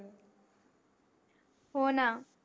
हो न